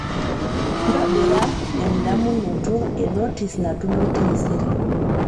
ntobira endamunoto e notis natumoi taisere